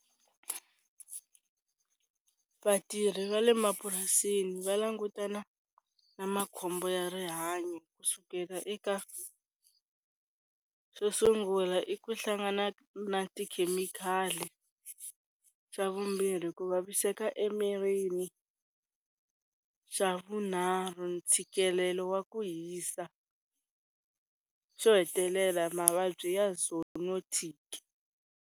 Vatirhi va le mapurasini va langutana na makhombo ya rihanyo kusukela eka xo sungula i ku hlangana na tikhemikhali, xa vumbirhi ku vaviseka emirini, xa vunharhu ntshikelelo wa ku hisa, xo hetelela mavabyi ya zoonotic.